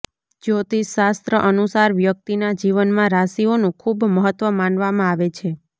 જ્યોતિષ શાસ્ત્ર અનુસાર વ્યક્તિના જીવનમાં રાશિઓનું ખૂબ મહત્વ માનવામાં આવે છે